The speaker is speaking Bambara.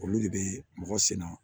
Olu de bɛ mɔgɔ sin na